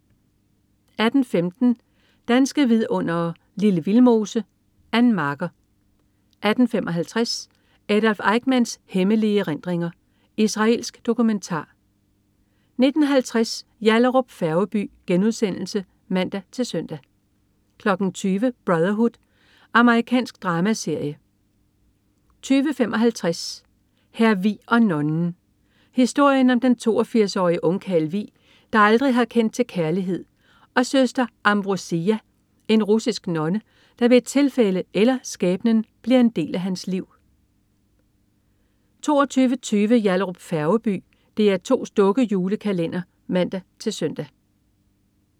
18.15 Danske vidundere: Lille Vildmose. Ann Marker 18.55 Adolf Eichmanns hemmelige erindringer. Israelsk dokumentar 19.50 Yallahrup Færgeby* (man-søn) 20.00 Brotherhood. Amerikansk dramaserie 20.55 Hr. Vig og nonnen. Historien om den 82-årige ungkarl Vig, der aldrig har kendt til kærlighed, og Søster Amvrosija, en russisk nonne, der ved et tilfælde, eller skæbnen, bliver en del af hans liv 22.20 Yallahrup Færgeby. DR2's dukke-julekalender (man-søn)